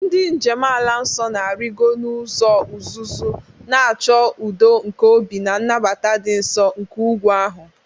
Ndị njem ala nsọ na-arịgoro n'ụzọ uzuzu, na-achọ udo nke obi na nnabata dị nsọ nke ugwu ahụ.